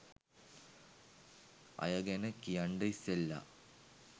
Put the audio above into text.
අය ගැන කියන්ඩ ඉස්සෙලා